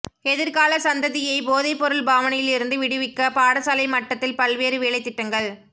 எதிர்கால சந்ததியை போதைப்பொருள் பாவனையிலிருந்து விடுவிக்க பாடசாலை மட்டத்தில் பல்வேறு வேலைத்திட்டங்கள்